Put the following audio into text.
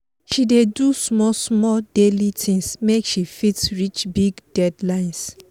she dey do small small daily things make she fit reach big deadlines